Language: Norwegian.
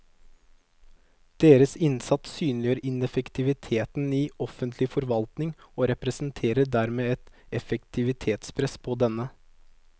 Deres innsats synliggjør ineffektiviteten i offentlig forvaltning og representerer dermed et effektivitetspress på denne.